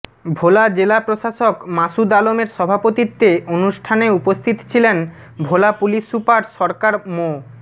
ভোলা জেলা প্রশাসক মাসুদ আলমের সভাপতিত্বে অনুষ্ঠানে উপস্থিত ছিলেন ভোলা পুলিশ সুপার সরকার মো